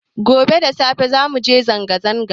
Gobe da safe za muje zanga zanga